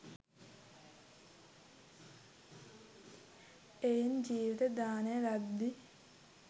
එයින් ජීවිත දානය ලද්දී